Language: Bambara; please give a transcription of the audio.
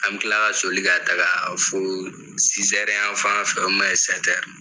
An bɛ kila ka soli ka taaga fo an fan fɛ .